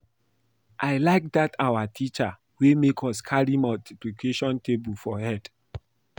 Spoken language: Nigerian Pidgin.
I like dat our teacher wey make us carry multiplication table for head